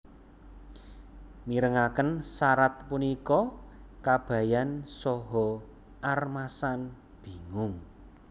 Mirengaken sarat punika Kabayan saha Armasan bingung